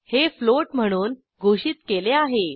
हे फ्लोट म्हणून घोषित केले आहे